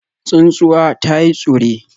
Tsuntsuwa ta yi tsure